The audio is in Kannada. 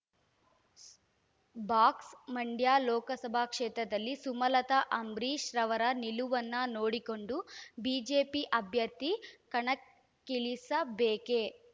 ಸ್ ಬಾಕ್ಸ್ ಮಂ‌ಡ್ಯ ಲೋಕಸಭಾ ಕ್ಷೇತ್ರದಲ್ಲಿ ಸುಮಲತಾ ಅಂಬರೀಶ್‌ರವರ ನಿಲುವನ್ನು ನೋಡಿಕೊಂಡು ಬಿಜೆಪಿ ಅಭ್ಯರ್ಥಿ ಕಣಕ್ಕಿಳಿಸಬೇಕೇ